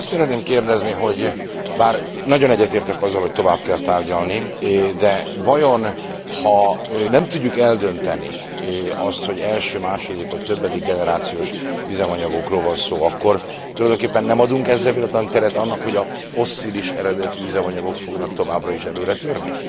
Azt szeretném kérdezni, hogy bár nagyon egyetértek azzal, hogy tovább kell tárgyalni, de vajon ha nem tudjuk eldönteni azt, hogy első, második vagy többedik generációs üzemanyagokról van szó, akkor tulajdonképpen nem adunk ezzel véletlenül teret annak, hogy a fosszilis eredetű üzemanyagok fognak továbbra is előretörni?